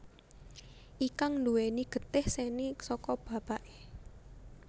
Ikang nduwèni getih seni saka bapaké